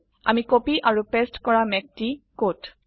আমি কপি আৰু পেস্ট কৰা মেঘটি কত160